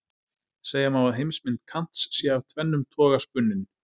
Segja má að heimsmynd Kants sé af tvennum toga spunnin.